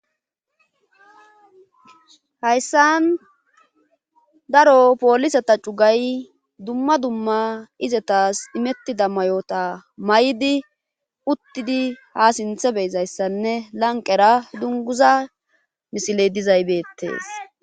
hayssan daro poolisata cugay dumma dumma izetas imettida mayoota may7di uttidi ha sinthe beyizayssanne lanqera dunguza misiley dizay beettees